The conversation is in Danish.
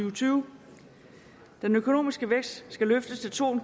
og tyve den økonomiske vækst skal løftes til to en